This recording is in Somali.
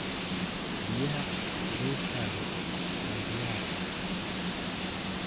Biyaha qubeyskaagu waa diyaar.